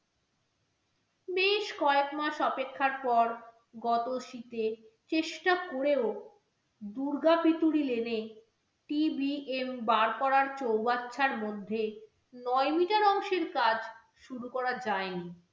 শেষ কয়েক মাস অপেক্ষার পর গত শীতে, চেষ্টা করেও দুর্গা পিতুরি lane এ TBM বার করার চৌবাচ্চার মধ্যে নয় metre অংশের কাজ শুরু করা যায়নি।